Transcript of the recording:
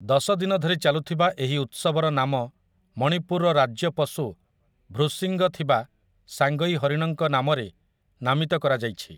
ଦଶ ଦିନ ଧରି ଚାଲୁଥିବା ଏହି ଉତ୍ସବର ନାମ ମଣିପୁରର ରାଜ୍ୟ ପଶୁ ଭ୍ରୂଶିଙ୍ଗ ଥିବା ସାଙ୍ଗଇ ହରିଣଙ୍କ ନାମରେ ନାମିତ କରାଯାଇଛି ।